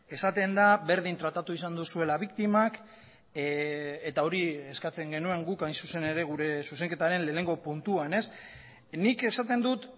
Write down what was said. esaten da berdin tratatu izan duzuela biktimak eta hori eskatzen genuen guk hain zuzen ere gure zuzenketaren lehenengo puntuan nik esaten dut